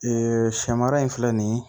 Ee sɛ mara in filɛ nin ye